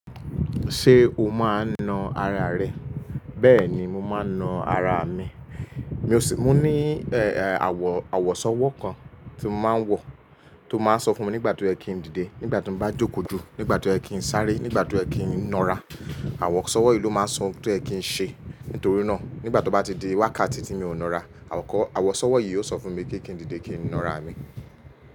Ṣé o máa ń na ara rẹ? Bẹ́ẹ̀ ni mo máa ń na ara mi. Mi ò sì, mo ní èè àwọ̀, àwọ̀sọ́wọ́ kan tí mo máa ń wọ̀ tó máa ń sọ fún mi nígbà tó yẹ kí n dìde, nígbà tí mo bá jòkó ju, nígbà tó yẹ kí n sáré, nígbà tó yẹ kí n na ara. Àwọ̀sọ́wọ́ yìí ló máa ń sọ ohun tó yẹ kí n ṣe. Nítorí náà, nígbà tó bá ti di wákàtí tí mi ò ń na ara, àwọ̀kọ́, àwọ̀sọ́wọ́ yìí yóò sọ fún mi pé kí n dìde kí n na ara mi.